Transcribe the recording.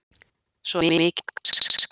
Svo er mikið um grafskriftir.